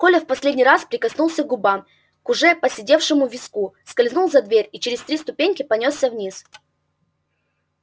коля в последний раз прикоснулся губами к уже поседевшему виску скользнул за дверь и через три ступеньки понёсся вниз